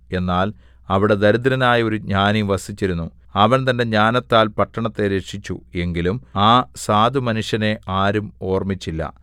എന്നാൽ അവിടെ ദരിദ്രനായ ഒരു ജ്ഞാനി വസിച്ചിരുന്നു അവൻ തന്റെ ജ്ഞാനത്താൽ പട്ടണത്തെ രക്ഷിച്ചു എങ്കിലും ആ സാധുമനുഷ്യനെ ആരും ഓർമ്മിച്ചില്ല